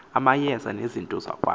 amayeza nezinto zokwamba